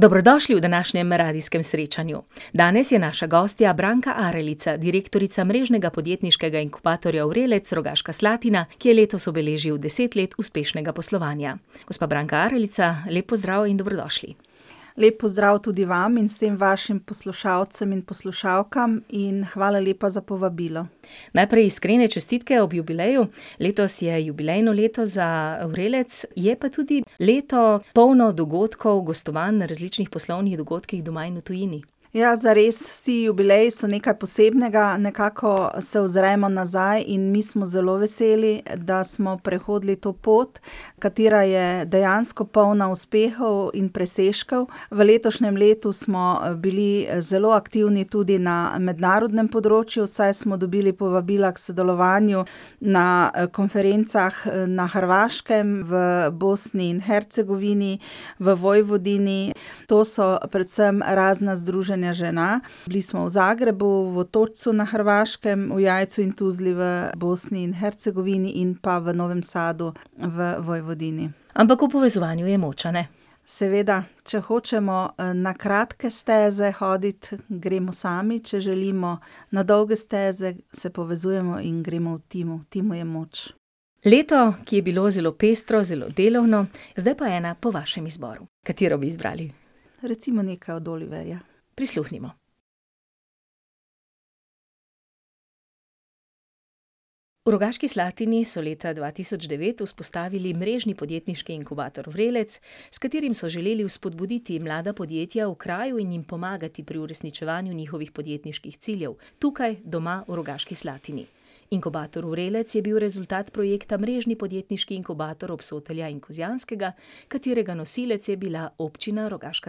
Dobrodošli v današnjem Radijskem srečanju. Danes je naša gostja Branka Aralica, direktorica Mrežnega podjetniškega inkubatorja Vrelec Rogaška Slatina, ki je letos obeležil deset let uspešnega poslovanja. Gospa Branka Aralica, lep pozdrav in dobrodošli. Lep pozdrav tudi vam in vsem vašim poslušalcem in poslušalkam in hvala lepa za povabilo. Najprej iskrene čestitke ob jubileju. Letos je jubilejno leto za Vrelec, je pa tudi leto, polno dogodkov, gostovanj na različnih poslovnih dogodkih doma in v tujini. Ja, zares, vsi jubileji so nekaj posebnega, nekako se ozremo nazaj in mi smo zelo veseli, da smo prehodili to pot, katera je dejansko polna uspehov in presežkov. V letošnjem letu smo, bili zelo aktivni tudi na mednarodnem področju, saj smo dobili povabila k sodelovanju na konferencah na Hrvaškem, v Bosni in Hercegovini, v Vojvodini. To so predvsem razna združenja žena. Bili smo v Zagrebu, v Otočcu na Hrvaškem, v Jajcu in Tuzli v Bosni in Hercegovini in pa v Novem Sadu v Vojvodini. Ampak v povezovanju je moč, a ne? Seveda. Če hočemo, na kratke steze hoditi, gremo sami. Če želimo na dolge steze, se povezujemo in gremo v timu. V timu je moč. Leto, ki je bilo zelo pestro, zelo delovno. Zdaj pa ena po vašem izboru. Katero bi izbrali? Recimo nekaj od Oliverja. Prisluhnimo. V Rogaški Slatini so leta dva tisoč devet vzpostavili mrežni podjetniški inkubator Vrelec, s katerim so želeli vzpodbuditi mlada podjetja v kraju in jim pomagati pri uresničevanju njihovih podjetniških ciljev. Tukaj, doma, v Rogaški Slatini. Inkubator Vrelec je bil rezultat projekta Mrežni podjetniški inkubator Obsotelja in Kozjanskega, katerega nosilec je bila Občina Rogaška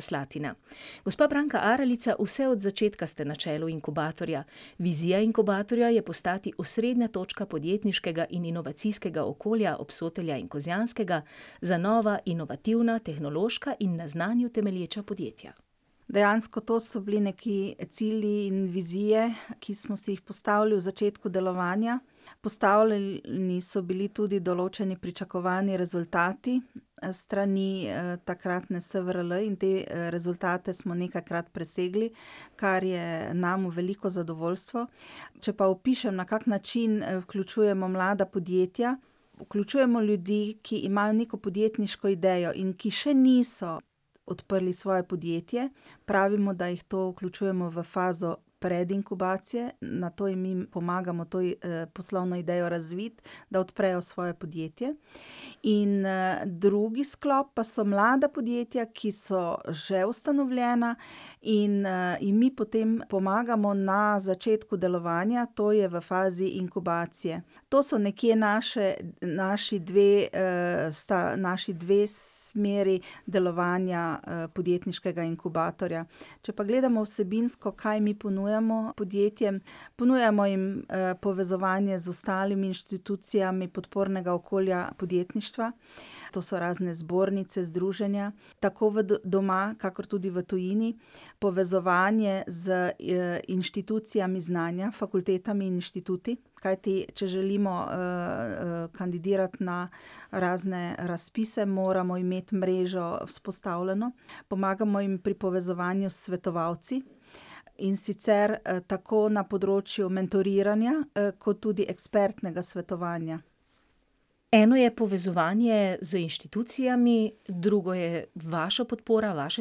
Slatina. Gospa Branka Aralica, vse od začetka ste na čelu inkubatorja. Vizija inkubatorja je postati osrednja točka podjetniškega in inovacijskega okolja Obsotelja in Kozjanskega za nova, inovativna, tehnološka in na znanju temelječa podjetja. Dejansko to so bili nekaj cilji in vizije, ki smo si jih postavili v začetku delovanja. Postavljeni so bili tudi določeni pričakovani rezultati s strani, takratne Svrl in te, rezultate smo nekajkrat presegli, kar je nam v veliko zadovoljstvo. Če pa opišem, na kak način, vključujemo mlada podjetja, vključujemo ljudi, ki imajo neko podjetniško idejo in ki še niso odprli svoje podjetje. Pravimo, da jih to vključujemo v fazo predinkubacije, nato jim mi pomagamo to poslovno idejo razviti, da odprejo svoje podjetje. In, drugi sklop pa so mlada podjetja, ki so že ustanovljena in, jim mi potem pomagamo na začetku delovanja, to je v fazi inkubacije. To so nekje naše, naši dve, sta naši dve smeri delovanja, podjetniškega inkubatorja. Če pa gledamo vsebinsko, kaj mi ponujamo podjetjem, ponujamo jim, povezovanje z ostalimi inštitucijami podpornega okolja podjetništva. To so razne zbornice, združenja. Tako v doma kakor tudi v tujini. Povezovanje z, inštitucijami znanja, fakultetami in inštituti, kajti če želimo, kandidirati na razne razpise, moramo imeti mrežo vzpostavljeno. Pomagamo jim pri povezovanju s svetovalci, in sicer, tako na področju mentoriranja kot tudi ekspertnega svetovanja. Eno je povezovanje z inštitucijami, drugo je vaša podpora, vaše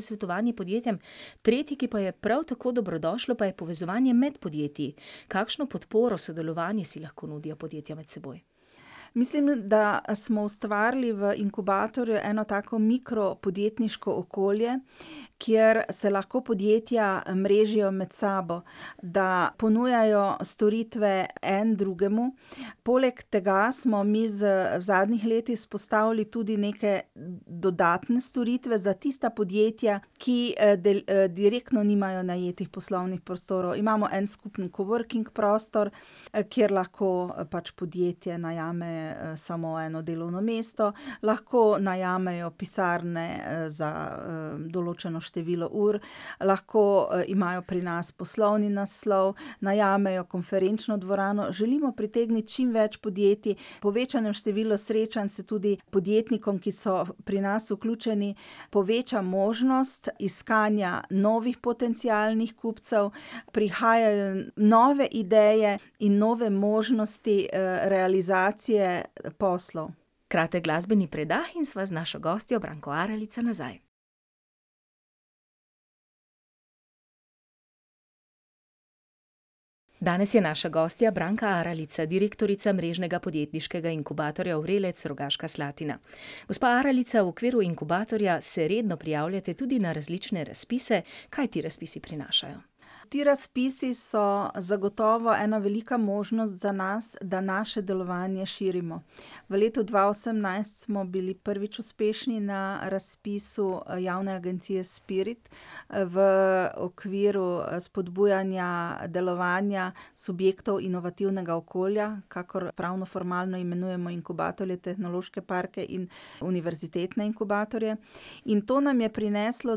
svetovanje podjetjem. Tretje, ki pa je prav tako dobrodošlo, pa je povezovanje med podjetji. Kakšno podporo, sodelovanje si lahko nudijo podjetja med seboj? Mislim, da smo ustvarili v inkubatorju eno tako mikropodjetniško okolje, kjer se lahko podjetja mrežijo med sabo, da ponujajo storitve en drugemu. Poleg tega smo mi z, v zadnjih letih vzpostavili tudi neke dodatne storitve za tista podjetja, ki, direktno nimajo najetih poslovnih prostorov. Imamo en skupen coworking prostor, kjer lahko pač podjetje najame, samo eno delovno mesto. Lahko najamejo pisarne, za, določeno število ur, lahko, imajo pri nas poslovni naslov, najamejo konferenčno dvorano. Želimo pritegniti čimveč podjetij, v povečanem številu srečanj se tudi podjetnikom, ki so pri nas vključeni, poveča možnost iskanja novih potencialnih kupcev, prihajajo nove ideje in nove možnosti, realizacije poslal. Kratek glasbeni predah in sva z našo gostjo Branko Aralico nazaj. Danes je naša gostja Branka Aralica, direktorica mrežnega podjetniškega inkubatorja Vrelec Rogaška Slatina. Gospa Aralica, v okviru inkubatorja se redno prijavljate tudi na različne razpise. Kaj ti razpisi prinašajo? Ti razpisi so zagotovo ena velika možnost za nas, da naše delovanje širimo. V letu dva osemnajst smo bili prvič uspešni na razpisu javne agencije Spirit, v okviru spodbujanja delovanja subjektov inovativnega okolja, kakor pravnoformalno imenujemo inkubatorje, tehnološke parke in univerzitetne inkubatorje. In to nam je prineslo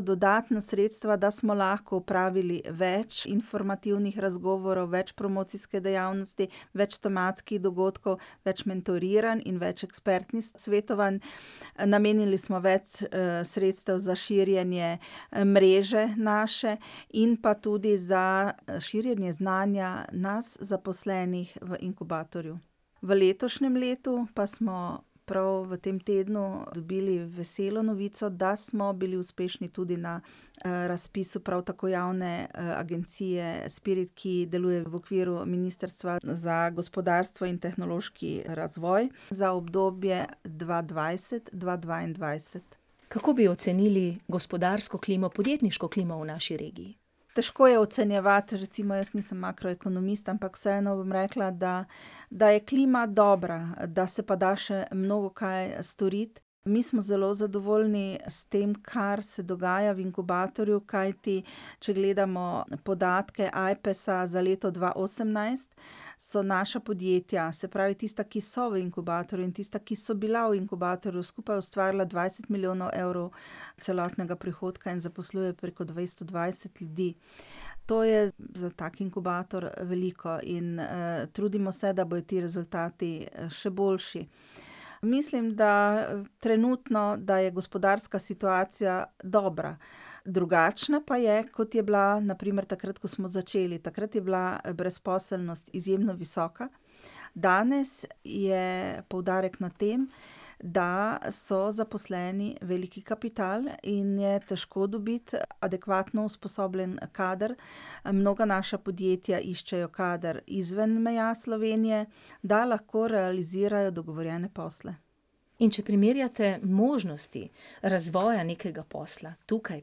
dodatna sredstva, da smo lahko opravili več informativnih razgovorov, več promocijske dejavnosti, več tematskih dogodkov, več mentoriranj in več ekspertnih svetovanj. Namenili smo več, sredstev za širjenje, mreže naše in pa tudi za širjenje znanja nas zaposlenih v inkubatorju. V letošnjem letu pa smo prav v tem tednu dobili veselo novico, da smo bili uspešni tudi na, razpisu prav tako javne agencije Spirit, ki deluje v okviru ministrstva za gospodarstvo in tehnološki razvoj, za obdobje dva dvajset dva dvaindvajset. Kako bi ocenili gospodarsko klimo, podjetniško klimo v naši regiji? Težko je ocenjevati, recimo jaz nisem makroekonomist, ampak vseeno bom rekla, da, da je klima dobra, da se pa da še mnogokaj storiti. Mi smo zelo zadovoljni s tem, kar se dogaja v inkubatorju, kajti če gledamo podatke Ajpesa za leto dva osemnajst, so naša podjetja, se pravi tista, ki so v inkubatorju, in tista, ki so bila v inkubatorju, skupaj ustvarila dvajset milijonov evrov celotnega prihodka in zaposlujejo preko dvesto dvajset ljudi. To je za tako inkubator, veliko in, trudimo se, da bojo ti rezultati, še boljši. Mislim, da trenutno, da je gospodarska situacija dobra. Drugačna pa je, kot je bila na primer takrat, ko smo začeli. Takrat je bila brezposelnost izjemno visoka. Danes je poudarek na tem, da so zaposleni veliki kapital in je težko dobiti adekvatno usposobljen kader. Mnoga naša podjetja iščejo kader izven meja Slovenije, da lahko realizirajo dogovorjene posle. In če primerjate možnosti razvoja nekega posla, tukaj,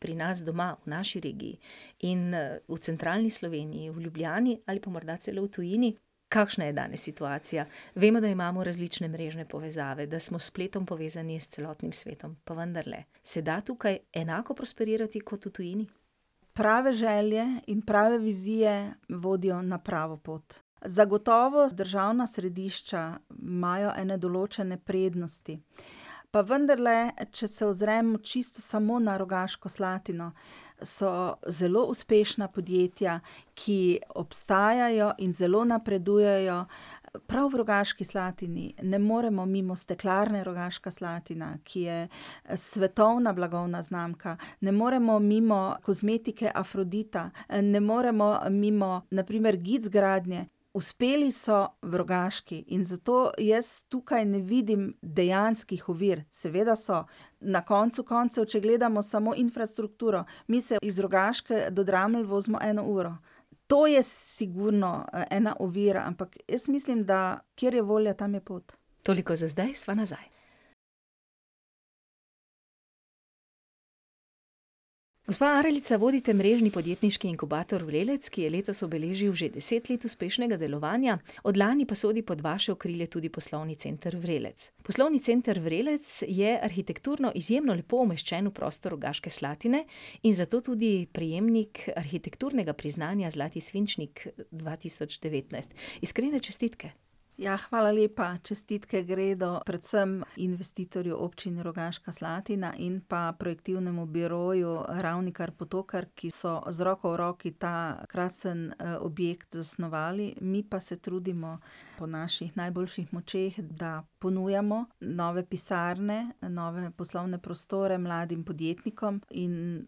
pri nas doma, v naši regiji, in, v centralni Sloveniji, v Ljubljani, ali pa morda celo v tujini, kakšna je danes situacija? Vemo, da imamo različne mrežne povezave, da smo s spletom povezani s celotnim svetom, pa vendarle, se da tukaj enako prosperirati kot v tujini? Prave želje in prave vizije vodijo na pravo pot. Zagotovo državna središča imajo ene določene prednosti. Pa vendarle, če se ozrem čisto samo na Rogaško Slatino, so zelo uspešna podjetja, ki obstajajo in zelo napredujejo prav v Rogaški Slatini. Ne moremo mimo Steklarne Rogaška Slatina, ki je svetovna blagovna znamka. Ne moremo mimo kozmetike Afrodita, ne moremo mimo na primer Gic gradnje. Uspeli so v Rogaški in zato jaz tukaj ne vidim dejanskih ovir. Seveda so. Na koncu koncev, če gledamo samo infrastrukturo, mi se iz Rogaške do Dramelj vozimo eno uro. To je sigurno ena ovira, ampak jaz mislim, da kjer je volja, tam je pot. Toliko za zdaj, sva nazaj. Gospa Aralica, vodite mrežni podjetniški inkubator Vrelec, ki je letos obeležil že deset let uspešnega delovanja, od lani pa sodi pod vaše okrilje tudi poslovni center Vrelec. Poslovni center Vrelec je arhitekturno izjemno lepo umeščen v prostor Rogaške Slatine in zato tudi prejemnik arhitekturnega priznanja zlati svinčnik dva tisoč devetnajst. Iskrene čestitke. Ja, hvala lepa. Čestitke gredo predvsem investitorju, Občini Rogaška Slatina, in pa projektivnemu biroju Ravnikar-Potokar, ki so z roko v roki ta krasni, objekt zasnovali, mi pa se trudimo po naših najboljših močeh, da ponujamo nove pisarne, nove poslovne prostore mladim podjetnikom in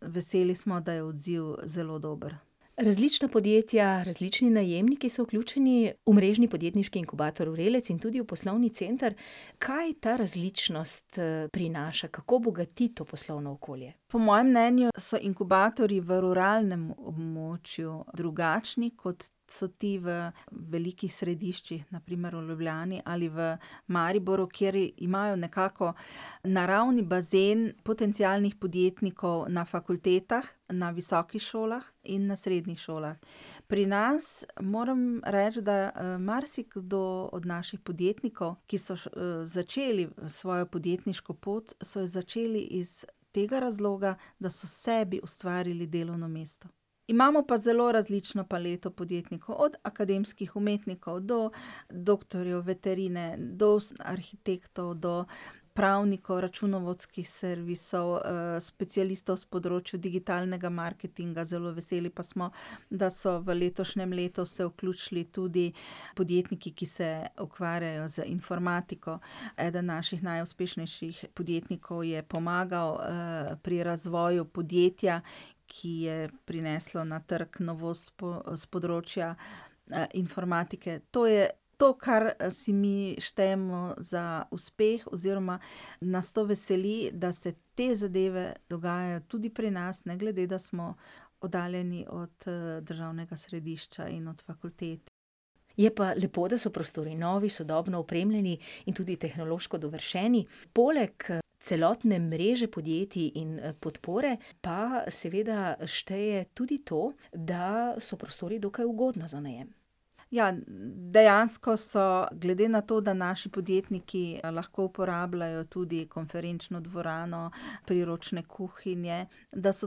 veseli smo, da je odziv zelo dober. Različna podjetja, različni najemniki so vključeni v mrežni podjetniški inkubator Vrelec in tudi v poslovni center. Kaj ta različnost, prinaša, kako bogati to poslovno okolje? Po mojem mnenju so inkubatorji v ruralnem območju drugačni, kot so ti v velikih središčih, na primer v Ljubljani ali v Mariboru, kjer imajo nekako naravni bazen potencialnih podjetnikov na fakultetah, na visokih šolah in na srednjih šolah. Pri nas moram reči, da, marsikdo od naših podjetnikov, ki so začeli svojo podjetniško pot, so jo začeli iz tega razloga, da so sebi ustvarili delovno mesto. Imamo pa zelo različno paleto podjetnikov, od akademskih umetnikov do doktorjev veterine, do arhitektov, do pravnikov, računovodskih servisov, specialistov s področja digitalnega marketinga, zelo veseli pa smo, da so v letošnjem letu se vključili tudi podjetniki, ki se ukvarjajo z informatiko. Eden naših najuspešnejših podjetnikov je pomagal, pri razvoju podjetja, ki je prineslo na trgu novost s s področja, informatike. To je to, kar, si mi štejemo za uspeh oziroma nas to veseli, da se te zadeve dogajajo tudi pri nas, ne glede, da smo oddaljeni od, državnega središča in od fakultet. Je pa lepo, da so prostori novi, sodobno opremljeni in tudi tehnološko dovršeni. Poleg, celotne mreže podjetij in, podpore pa seveda šteje tudi to, da so prostori dokaj ugodno za najem. Ja, dejansko so, glede na to, da naši podjetniki lahko uporabljajo tudi konferenčno dvorano, priročne kuhinje, da so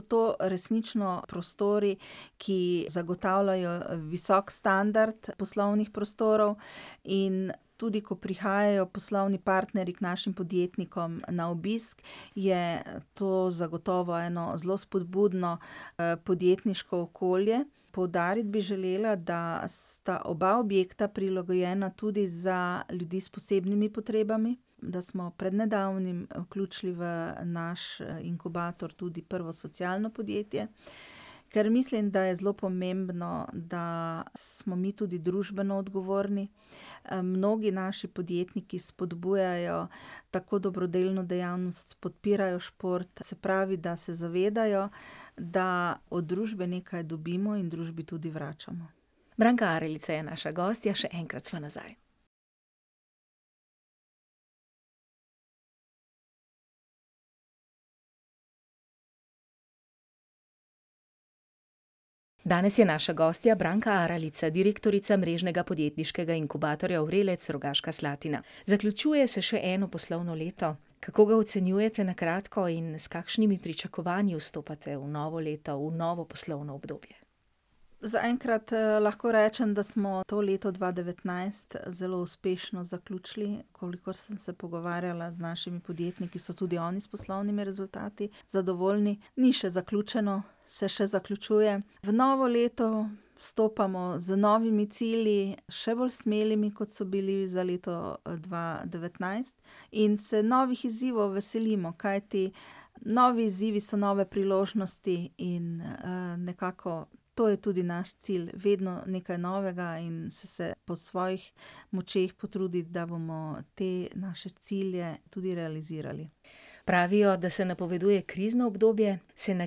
to resnično prostori, ki zagotavljajo visok standard poslovnih prostorov. In tudi ko prihajajo poslovni partnerji k našim podjetnikom na obisk, je to zagotovo eno zelo spodbudno, podjetniško okolje. Poudariti bi želela, da sta oba objekta prilagojena tudi za ljudi s posebnimi potrebami, da smo pred nedavnim vključili v naš inkubator tudi prvo socialno podjetje, ker mislim, da je zelo pomembno, da smo mi tudi družbeno odgovorni. mnogi naši podjetniki spodbujajo tako dobrodelno dejavnost, podpirajo šport. Se pravi, da se zavedajo, da od družbe nekaj dobimo in družbi tudi vračamo. Branka Aralica je naša gostja, še enkrat sva nazaj. Danes je naša gostja Branka Aralica, direktorica mrežnega podjetniškega inkubatorja Vrelec Rogaška Slatina. Zaključuje se še eno poslovno leto. Kako ga ocenjujete na kratko in s kakšnimi pričakovanji vstopate v novo leto, v novo poslovno obdobje? Zaenkrat, lahko rečem, da smo to leto dva devetnajst zelo uspešno zaključili. Kolikor sem se pogovarjala z našimi podjetniki, so tudi oni s poslovnimi rezultati zadovoljni. Ni še zaključeno. Se še zaključuje. V novo leto vstopamo z novimi cilji, še bolj smelimi, kot so bili za leto, dva devetnajst, in se novih izzivov veselimo, kajti novi izzivi so nove priložnosti in, nekako to je tudi naš cilj, vedno nekaj novega in se po svojih močeh potruditi, da bomo te naše cilje tudi realizirali. Pravijo, da se napoveduje krizno obdobje. Se na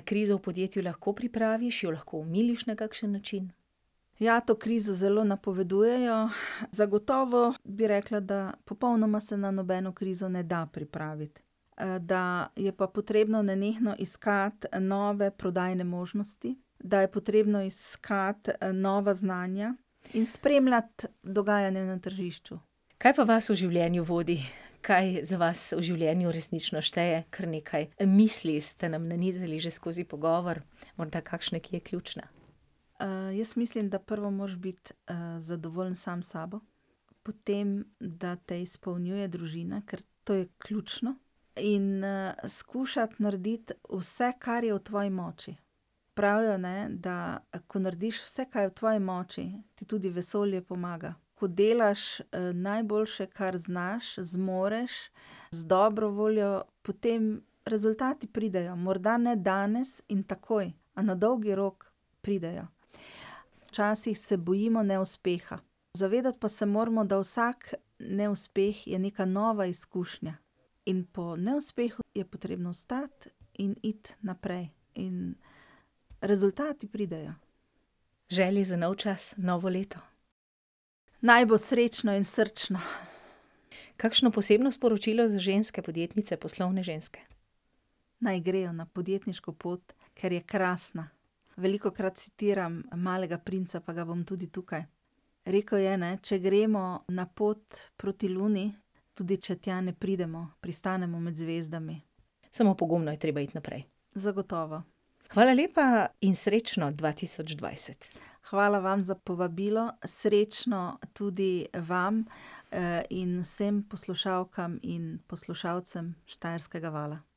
krizo v podjetju lahko pripraviš, jo lahko omiliš na kakšen način? Ja, to krizo zelo napovedujejo. Zagotovo bi rekla, da popolnoma se na nobeno krizo ne da pripraviti. da je pa potrebno nenehno iskati nove prodajne možnosti, da je potrebno iskati, nova znanja in spremljati dogajanje na tržišču. Kaj pa vas v življenju vodi? Kaj za vas v življenju resnično šteje? Kar nekaj misli ste nam nanizali že skozi pogovor, morda kakšna, ki je ključna? jaz mislim, da prvo moraš biti, zadovoljen sam s sabo. Potem, da te izpolnjuje družina, ker to je ključno. In, skušati narediti vse, kar je v tvoji moči. Pravijo, ne, da ko narediš vse, kaj je v tvoji moči, ti tudi vesolje pomaga. Ko delaš, najboljše, kar znaš, zmoreš, z dobro voljo, potem rezultati pridejo. Morda ne danes in takoj, a na dolgi rok pridejo. Včasih se bojimo neuspeha. Pa se moramo zavedati, da vsak neuspeh je neka nova izkušnja. In po neuspehu je potrebno vstati in iti naprej. In rezultati pridejo. Želje za nov čas, novo leto? Naj bo srečno in srčno. Kakšno posebno sporočilo za ženske podjetnice, poslovne ženske? Naj grejo na podjetniško pot, ker je krasna. Velikokrat citiram Malega princa, pa ga bom tudi tukaj. Rekel je, ne, če gremo na pot proti Luni, tudi če tja ne pridemo, pristanemo med zvezdami. Samo pogumno je treba iti naprej. Zagotovo. Hvala lepa in srečno dva tisoč dvajset. Hvala vam za povabilo. Srečno tudi vam, in vsem poslušalkam in poslušalcem Štajerskega vala.